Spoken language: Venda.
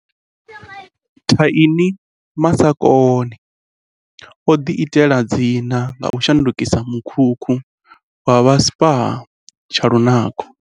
Thaini Masakane o ḓiitela dzina nga u shandukisa mu khukhu wa vha spa tsha lu nako.